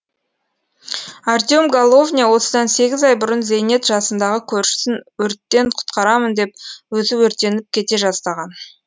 артем головня осыдан сегіз ай бұрын зейнет жасындағы көршісін өрттен құтқарамын деп өзі өртеніп кете жаздаған